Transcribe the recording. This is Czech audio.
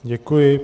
Děkuji.